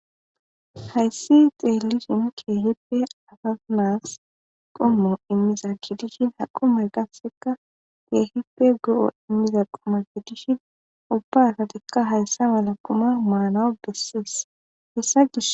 Hayssi xeellishen keehippe qommo gididi ha qommoy qassikka keehippe go7o immiza quma gidishin ubba asathikka hayssa mala qumaa maanawu dosees.